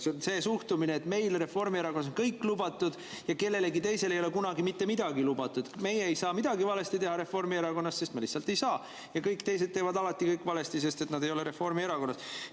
See on see suhtumine, et meile Reformierakonnas on kõik lubatud ja kellelegi teisele ei ole kunagi mitte midagi lubatud, meie Reformierakonnas ei saa midagi valesti teha, sest me lihtsalt ei saa, ja kõik teised teevad alati kõik valesti, sest nad ei ole Reformierakonnas.